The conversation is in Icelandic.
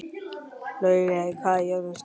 Laugey, hvað er jörðin stór?